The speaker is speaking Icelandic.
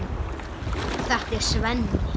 Þetta er Svenni.